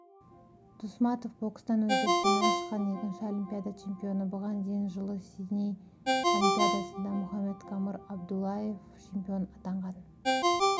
дусматов бокстан өзбекстаннан шыққан екінші олимпиада чемпионы бұған дейін жылы сидней олимпиадасында мухаммадкадыр абдуллаев чемпион атанған